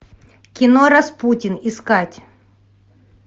кино распутин искать